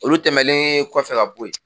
Olu tɛmɛnen kɔfɛ ka bo yen